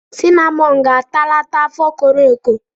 Sinamọn ga-atalata afọ koro eko.